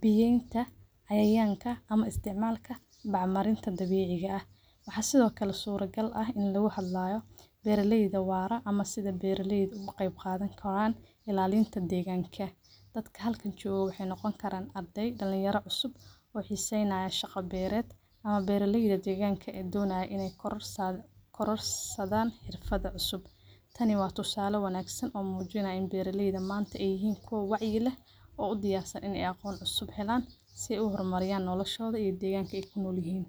biiyenta cayayanka ama isticmaalka bacmarinta dabiciga ah ,waxa sidokale sura gal ah ini loga hadlayo beeraleyda wara ama sida beeraleyda oga qeb qadani karaan ilaalinta deegganka, dadka halkan joga waxay noqon karaan ardey dhalin yaro cusub oo xiseenaya shaqa beered ama beeraleyda deegganka ee donaya inay korarsadan xirfada cusub, tani waa tusale wanaagsan oo muuninayo inay beeraleyda manta inay yihiin kuwo wacyi eh oo u diyaarsan inay aqon cusub helaan si ay uhor mariyan noloshooda iyo deegganka ay kunol yihiin